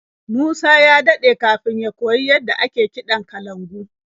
Musa ya daɗe kafin ya koyi yadda ake kiɗan kalangu.